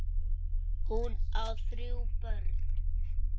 Hún á þrjú börn.